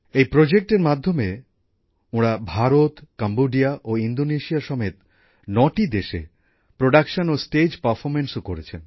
এই প্রকল্পের মাধ্যমে ওঁরা ভারত কম্বোডিয়া ও ইন্দোনেশিয়া সমেত ৯টি দেশে প্রোডাকশন ও স্টেজ পারফর্মেন্সও করেছেন